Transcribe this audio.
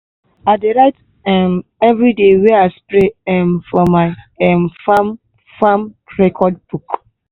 i dey write um every day wey i spray um for my um farm farm record book.